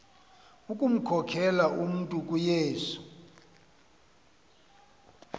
ukumkhokelela umntu kuyesu